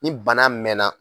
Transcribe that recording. Ni bana mɛnna